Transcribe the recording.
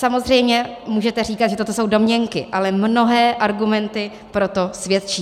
Samozřejmě můžete říkat, že toto jsou domněnky, ale mnohé argumenty pro to svědčí.